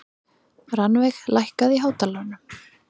Rannveig, lækkaðu í hátalaranum.